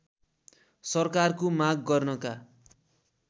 सरकारको माग गर्नका